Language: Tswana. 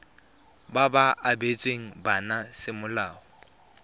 ba ba abetsweng bana semolao